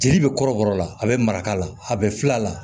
Jeli bɛ kɔrɔbɔrɔ la a bɛ mara la a bɛ fil'a la